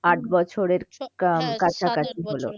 আট বছরের